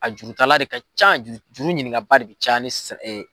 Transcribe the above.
A juru tala le ka ca juru juru ɲininkabaa de bɛ caya ni